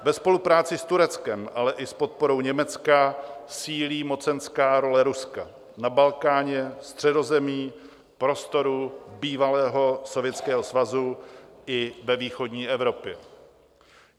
Ve spolupráci s Tureckem, ale i s podporou Německa sílí mocenská role Ruska na Balkáně, Středozemí, prostoru bývalého Sovětského svazu i ve východní Evropě.